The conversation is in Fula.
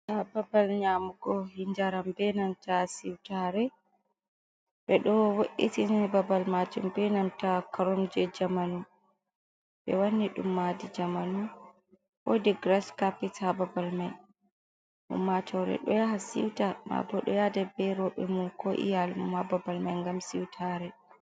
Ha babal nyamug, njaram be nanta siutare. Be do wo’itini babal majum be nanta karomje jamanu. Be wanni dum madi jamanu. Wodi giras kapet ha babal mai. Ummatore do yaha siwta. Mabo ɗo yada berobe mum ko iyalmum ha babal mai gam siwtare.